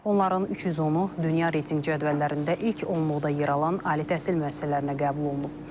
Onların 310-u dünya reytinq cədvəllərində ilk onluqda yer alan ali təhsil müəssisələrinə qəbul olunub.